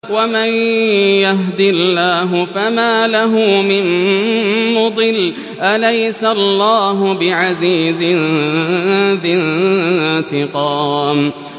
وَمَن يَهْدِ اللَّهُ فَمَا لَهُ مِن مُّضِلٍّ ۗ أَلَيْسَ اللَّهُ بِعَزِيزٍ ذِي انتِقَامٍ